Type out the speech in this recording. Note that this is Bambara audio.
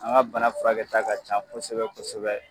An ka bana furakɛta ka can kosɛbɛ kosɛbɛ.